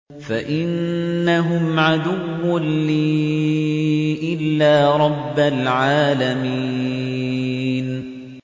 فَإِنَّهُمْ عَدُوٌّ لِّي إِلَّا رَبَّ الْعَالَمِينَ